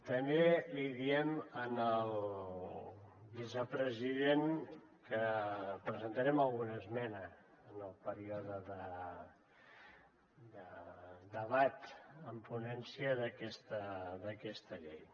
també li diem al vicepresident que presentarem alguna esmena en el període de debat en ponència d’aquesta llei